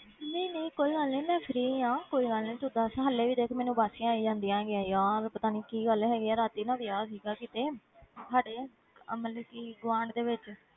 ਨਹੀਂ ਨਹੀਂ ਕੋਈ ਗੱਲ ਨੀ ਮੈਂ free ਹਾਂ ਕੋਈ ਗੱਲ ਨੀ ਤੂੰ ਦੱਸ ਹਾਲੇ ਵੀ ਦੇਖ ਮੈਨੂੰ ਉਬਾਸੀਆਂ ਆਈ ਜਾਂਦੀਆਂ ਹੈਗੀਆਂ ਯਾਰ ਪਤਾ ਨੀ ਕੀ ਗੱਲ ਹੈਗੀ ਹੈ ਰਾਤੀ ਨਾ ਵਿਆਹ ਸੀਗਾ ਕਿਤੇ ਸਾਡੇ ਆਹ ਮਤਲਬ ਕਿ ਗੁਆਂਢ ਦੇ ਵਿੱਚ